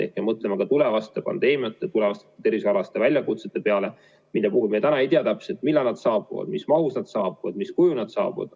Me mõtleme ka tulevaste pandeemiate, tulevaste tervishoiualaste väljakutsete peale, mille puhul me täna ei tea täpselt, millal nad saabuvad, mis mahus nad saabuvad, mis kujul nad saabuvad.